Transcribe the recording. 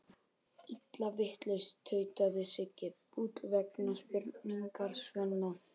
Illa vitlaus, tautaði Siggi fúll vegna spurningar Svenna.